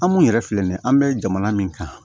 An mun yɛrɛ filɛ nin an bɛ jamana min kan